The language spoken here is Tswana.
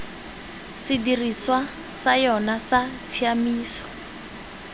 sedirisiwa sa yona sa tshiaimiso